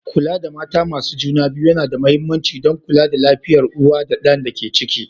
Kula da mata masu juna biyu yana da mahimmanci don kula da lafiyar uwa da ɗan da ke ciki.